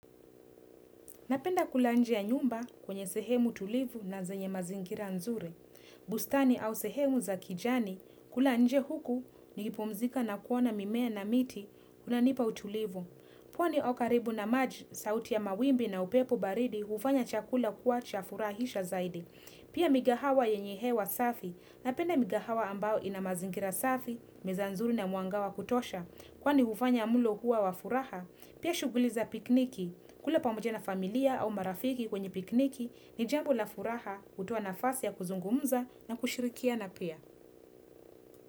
Napenda kula nje ya nyumba kwenye sehemu tulivu na zenye mazingira nzuri. Bustani au sehemu za kijani kula nje huku nikipumzika na kuona mimea na miti kuna nipa utulivu. Pwani au karibu na maj sauti ya mawimbi na upepo baridi ufanya chakula kuwa chafurahisha zaidi. Pia migahawa yenye hewa safi. Napenda migahawa ambao ina mazingira safi, meza nzuri na muanga wa kutosha. Kwani hufanya mlo kuwa wa furaha, pia shuguliza pikniki. Kule pamoja na familia au marafiki kwenye pikniki ni jambo la furaha kutua nafasi ya kuzungumza na kushirikia na pia.